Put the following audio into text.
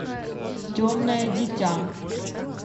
темное дитя